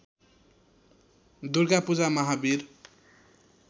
Durga Puja Mahavir